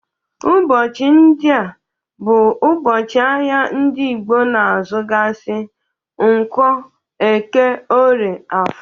Ụbọchị ndị a bụ ụbọchị ahia ndị Igbo na azugasị, nkwo, eke, orie, afọr.